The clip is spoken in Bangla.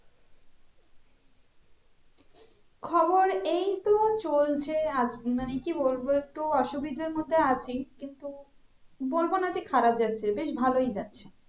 খবর এই তো চলছে আজ মানে কি বলবো একটু অসুবিধের মধ্যে আছি কিন্তু বলবো না যে খারাপ যাচ্ছে বেশ ভালোই যাচ্ছে